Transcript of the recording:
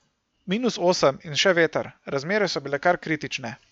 Minus osem in še veter, razmere so bile kar kritične.